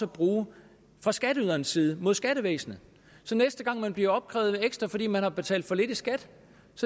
bruge fra skatteyderens side mod skattevæsenet så næste gang man bliver opkrævet ekstra fordi man har betalt for lidt i skat